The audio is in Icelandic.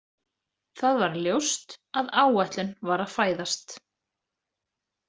Það var ljóst að áætlun var að fæðast.